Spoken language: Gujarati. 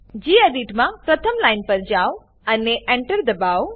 ગેડિટ મા પ્રથમ લાઈન પર જાઓ અને અને એન્ટર દબાઓ